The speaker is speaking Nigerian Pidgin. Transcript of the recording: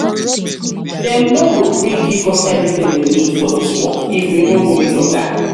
dem no go gree give us everything we need for dis work if we no meet oga